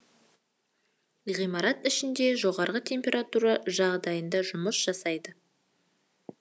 ғимарат ішінде жоғары температура жағдайында жұмыс жасайды